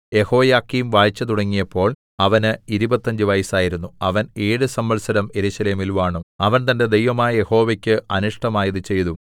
യെഹോയാക്കീം വാഴ്ച തുടങ്ങിയപ്പോൾ അവന് ഇരുപത്തഞ്ച് വയസ്സായിരുന്നു അവൻ ഏഴ് സംവത്സരം യെരൂശലേമിൽ വാണു അവൻ തന്റെ ദൈവമായ യഹോവയ്ക്ക് അനിഷ്ടമായത് ചെയ്തു